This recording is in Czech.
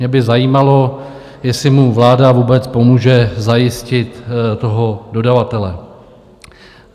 Mě by zajímalo, jestli mu vláda vůbec pomůže zajistit toho dodavatele?